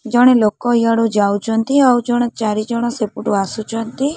ଜଣେ ଲୋକ ଇଆଡୁ ଯାଉଚନ୍ତି ଆଉ ଜଣେ ଚାରି ଜଣ ସେପଟୁ ଆସୁଛନ୍ତି।